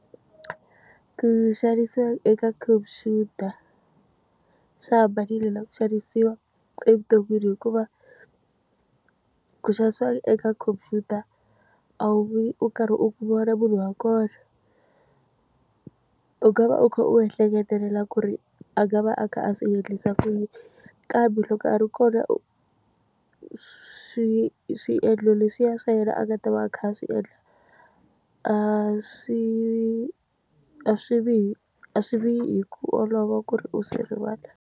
Ku xanisiwa eka khomphyuta swi hambanile na ku xanisiwa evuton'wini hikuva, ku xanisiwa eka khomphyuta a wu vi u karhi u n'wi vona munhu wa kona. U nga va u kha u ehleketelela ku ri a nga va a kha a swi endlisa ku yini, kambe loko a ri kona u swiendlo leswiya swa yena a nga ta va a kha a swi endla, a swi a swi vi a swi vi hi ku olova ku ri u swi rivala.